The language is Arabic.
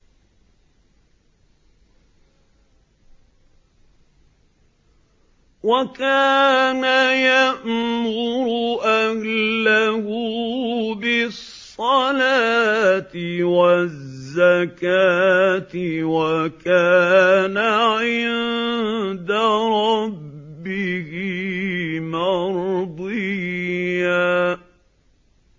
وَكَانَ يَأْمُرُ أَهْلَهُ بِالصَّلَاةِ وَالزَّكَاةِ وَكَانَ عِندَ رَبِّهِ مَرْضِيًّا